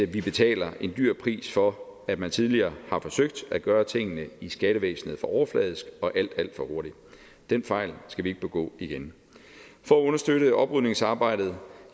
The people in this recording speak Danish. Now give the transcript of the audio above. vi betaler en dyr pris for at man tidligere har forsøgt at gøre tingene i skattevæsenet for overfladisk og alt alt for hurtigt den fejl skal vi ikke begå igen for at understøtte oprydningsarbejdet